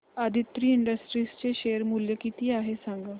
Aditri industries चे share मूल्य किती आहे सांगा